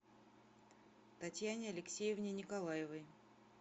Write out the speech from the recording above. татьяне алексеевне николаевой